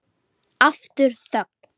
Þú verður seint biskup!